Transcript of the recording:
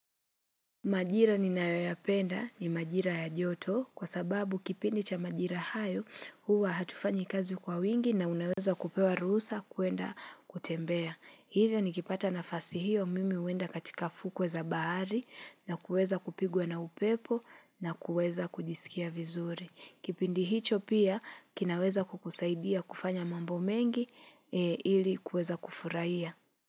Majira ninayoyapenda ni majira ya joto kwa sababu kipindi cha majira hayo huwa hatufanyi kazi kwa wingi na unaweza kupewa ruhusa kuenda kutembea. Hivyo nikipata nafasi hiyo mimi huenda katika fukwe za bahari na kuweza kupigwa na upepo na kuweza kujisikia vizuri. Kipindi hicho pia kinaweza kukusaidia kufanya mambo mengi ili kuweza kufurahia.